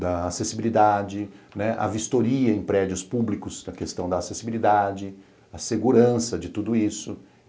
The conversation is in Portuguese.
da acessibilidade, a vistoria em prédios públicos da questão da acessibilidade, a segurança de tudo isso.